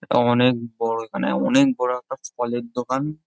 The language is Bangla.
এইটা অনেক এইখানে অনেক বড় একটা ফলের দোকান।